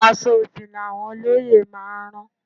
Aṣọ òfì ni àwọn olóyè máa rán